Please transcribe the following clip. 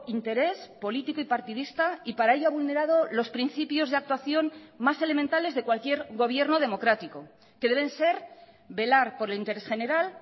interés político y partidista y para ello a vulnerado los principios de actuación más elementales de cualquier gobierno democrático que deben ser velar por el interés general